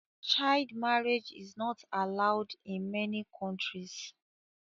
Child marriage is not allowed in many countries